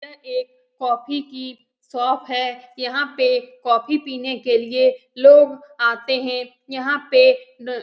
यह एक कॉफी की शॉप है। यहाँ पे कॉफी पीने के लिए लोग आते हैं। यहाँ पे न --